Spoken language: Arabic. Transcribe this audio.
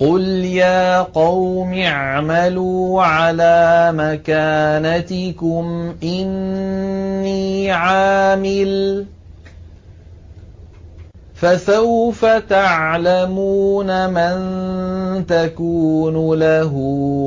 قُلْ يَا قَوْمِ اعْمَلُوا عَلَىٰ مَكَانَتِكُمْ إِنِّي عَامِلٌ ۖ فَسَوْفَ تَعْلَمُونَ مَن تَكُونُ لَهُ